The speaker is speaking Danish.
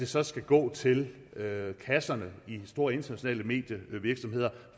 så skal gå til kasserne i de store internationale medievirksomheder